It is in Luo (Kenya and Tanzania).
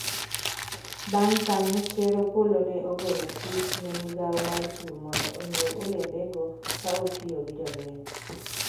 bang' kanyo ker Opollo ne ogolo chik ne migawo mar pur mondo onyiew olembego ka otiyo gi jolweny